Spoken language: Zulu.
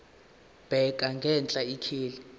bheka ngenhla ikheli